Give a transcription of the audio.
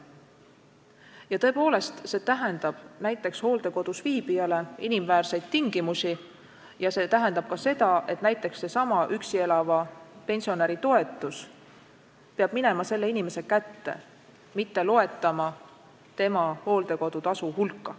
Ja tõepoolest, see tähendab näiteks hooldekodus viibijale inimväärseid tingimusi ja see tähendab ka seda, et seesama üksi elava pensionäri toetus peab minema selle inimese kätte, mitte loetama tema hooldekodutasu hulka.